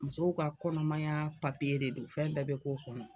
Musow ka kɔnɔmaya de don fɛn bɛɛ be k'o kɔnɔ